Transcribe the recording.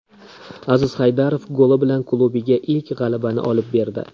Aziz Haydarov goli bilan klubiga ilk g‘alabani olib berdi.